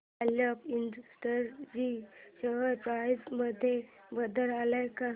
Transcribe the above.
Alok Industries share price मध्ये बदल आलाय का